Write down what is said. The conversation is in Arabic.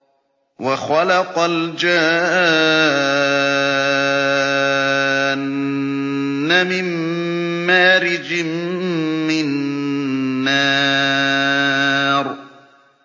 وَخَلَقَ الْجَانَّ مِن مَّارِجٍ مِّن نَّارٍ